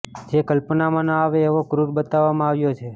જે કલ્પનામાં ન આવે એવો ક્રૂર બતાવવામાં આવ્યો છે